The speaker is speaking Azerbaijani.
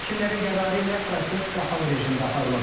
Hakimlərin qərarı ilə proses qapalı rejimdə aparılıb.